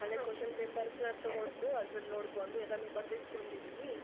Question paper ತುಗೊಂಡು ಅದರಲ್ಲಿ ನೋಡ್ಕೊಂಡು ಎಲ್ಲಾನೂ ಬರೆದಿಟ್ಕೊಂಡಿದೀನಿ.